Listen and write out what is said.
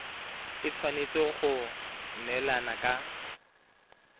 e tshwanetse go neelana ka